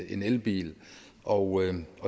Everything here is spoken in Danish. en elbil og